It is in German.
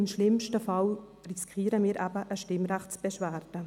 Im schlimmsten Fall riskieren wir eben eine Stimmrechtsbeschwerde.